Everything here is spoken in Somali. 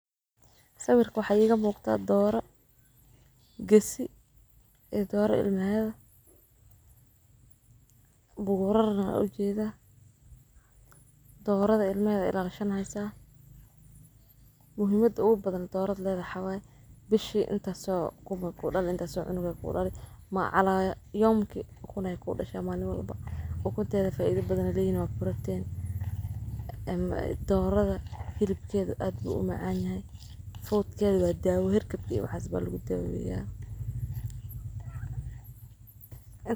Sawirka waxa iga muuqda dooro gasi ee dooro ilmeeda. Bugorarana wuxuu jeezaa doorada ilmeeda ilaa konton aysan. Muhimadu u badan doorad leedahawey bishii inta soo kuma ku dhali inta soo conku ku dhalin ma calaya. kawaran ki kuna ku dhashay maalmo iba u guntaada faaiido badna liinao barateen. Doorada kilabkeedu aad bu'uma caanyahay food keedu aad daawo, hir kabki waxasba lagu taagayaya.